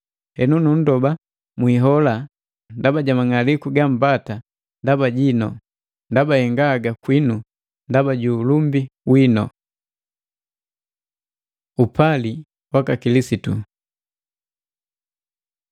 Henu, nundoba mwihola ndaba ja mang'aliku gambata ndaba jinu, ndaba henga haga kwinu ndaba ju ulumbi winu. Upali waka Kilisitu